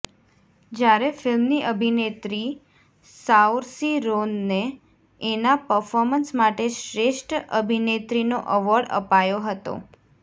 જ્યારે ફિલ્મની અભિનેત્રી સાઓર્સી રોનને એના પર્ફોર્મન્સ માટે શ્રેષ્ઠ અભિનેત્રીનો એવોર્ડ અપાયો હતો